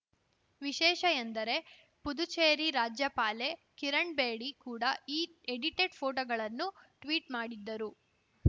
ವಿಶೇಷ ಎಂದರೆ ಪುದುಚೇರಿ ರಾಜ್ಯಪಾಲೆ ಕಿರಣ್‌ ಬೇಡಿ ಕೂಡ ಈ ಎಡಿಟೆಡ್‌ ಫೋಟೋಗಳನ್ನು ಟ್ವೀಟ್‌ ಮಾಡಿದ್ದರು